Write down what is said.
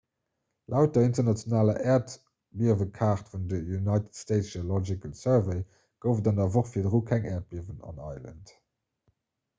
laut der internationaler äerdbiewekaart vun der united states geological survey gouf et an der woch virdru keng äerdbiewen an island